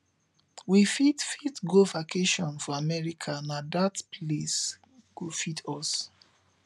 we fit fit go vacation for america na dat place go fit us